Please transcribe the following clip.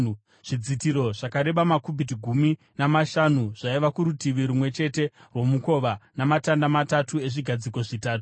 Zvidzitiro zvakareba makubhiti gumi namashanu zvaiva kurutivi rumwe chete rwomukova, namatanda matatu ezvigadziko zvitatu,